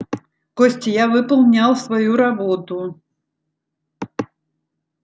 костя я выполнял свою работу